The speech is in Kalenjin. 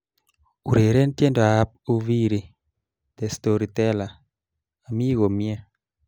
Ureren tiendoab Uviiri 'the storyteller' amii komie